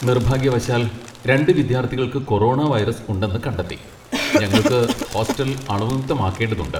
നിർഭാഗ്യവശാൽ, രണ്ട് വിദ്യാർത്ഥികൾക്ക് കൊറോണ വൈറസ് ഉണ്ടെന്ന് കണ്ടെത്തി, ഞങ്ങൾക്ക് ഹോസ്റ്റൽ അണുവിമുക്തമാക്കേണ്ടതുണ്ട്.